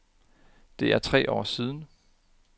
Det er tre år siden.